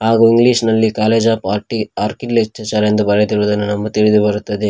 ಹಾಗೂ ಇಂಗ್ಲೀಷ್ ನಲ್ಲಿ college of horticulture ಎಂದು ಬರೆದಿರುವುದನ್ನು ನಮಗೆ ತಿಳಿದುಬರುತ್ತದೆ.